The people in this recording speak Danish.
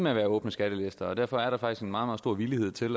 med at være åbne skattelister og derfor er der faktisk en meget meget stor villighed til